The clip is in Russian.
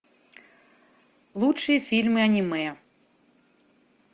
лучшие фильмы аниме